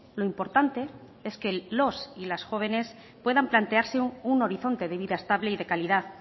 lo importante es que los y las jóvenes puedan plantearse un horizonte de vida estable y de calidad